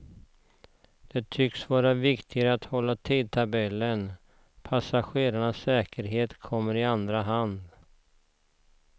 Det tycks vara viktigare att hålla tidtabellen, passagerarnas säkerhet kommer i andra hand.